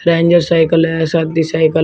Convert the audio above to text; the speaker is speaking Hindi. रेंजर साइकल है सादी साइकल है।